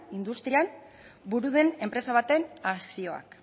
industrian buru den enpresa baten akzioak